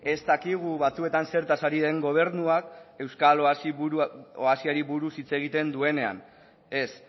ez dakigu batzuetan zertaz ari den gobernua euskal oasiari buruz hitz egiten duenean ez